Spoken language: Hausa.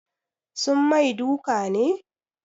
Sun mai duka ne?